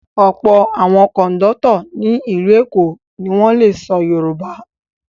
Ọ̀pọ̀ àwọn kọ̀ńdọ́tọ̀ ní ìlú Èkó ni wọ́n le sọ Yorùbá.